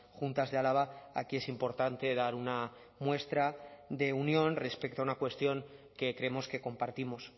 juntas de álava aquí es importante dar una muestra de unión respecto a una cuestión que creemos que compartimos